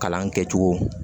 Kalan kɛcogo